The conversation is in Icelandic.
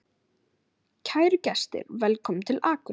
Kæru gestir! Velkomnir til Akureyrar.